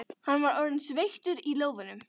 Hann var orðinn sveittur í lófunum.